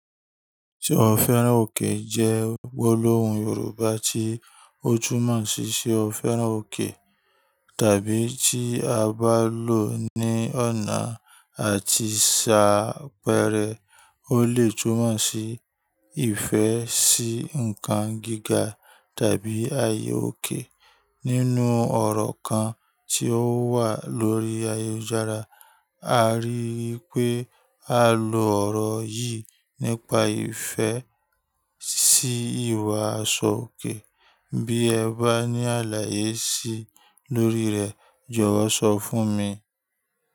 Ṣé ọ fẹ́ràn òkè jẹ́ gbólóhùn Yorùbá tí ó tumọ̀ ṣí ṣé o fẹ́ràn òkè tàbí tí a bá lò ní ọ̀nà àti ṣá pẹrẹ. Ó le tùmọ̀ ṣí ìfẹ́ sí nǹkan gíga tàbí ààyè òkè. Nínú ọ̀rọ̀ kan tí ó wà lórí ayélujára, a rí i pé a lo ọ̀rọ̀ yìí nípa ìfẹ́ sí ìwà aṣọ òkè. Bí ẹ bá ní àlàyé sí i lórí rẹ̀, jọ̀wọ́ sọ fún mi.